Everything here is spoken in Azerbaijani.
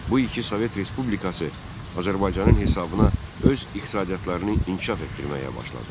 Bu iki Sovet Respublikası Azərbaycanın hesabına öz iqtisadiyyatlarını inkişaf etdirməyə başladı.